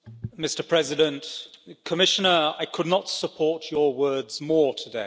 Mr President, Commissioner, I could not support your words more today.